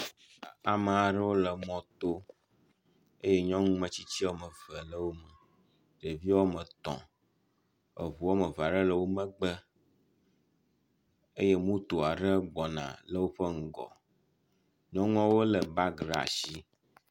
Ame aɖewo le mɔto eye nyɔnu metsitsi wɔme eve le wo me. Ɖevi wɔme etɔ̃, eŋu wɔme eve aɖe le wo megbe eye moto aɖe gbɔna le woƒe ŋgɔ. Nyɔnuawo le bagi ɖe asi.